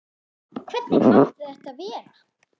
Hvernig mátti þetta verða?